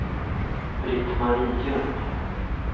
Britt-Marie Ljung